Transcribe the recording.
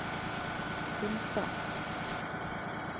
Hunstad